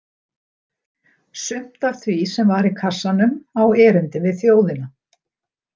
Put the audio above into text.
Sumt af því sem var í kassanum á erindi við þjóðina.